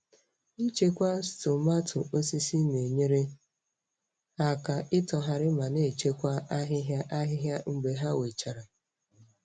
Ichekwa stumatu osisi na-enyere ha aka itoghari ma na-echekwa ahịhịa ahịhịa mgbe ha wechara.